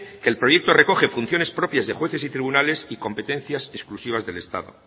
que el proyecto recoge funciones propias de jueces y tribunales y competencias exclusivas del estado